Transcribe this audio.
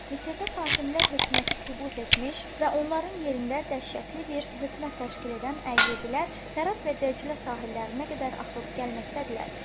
Misirdə Fatimilər hökuməti süqut etmiş və onların yerində dəhşətli bir hökumət təşkil edən Əyyubilər Fərat və Dəclə sahillərinə qədər axıb gəlməkdədirlər.